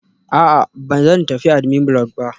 A'a, ba zan tafi admin block ba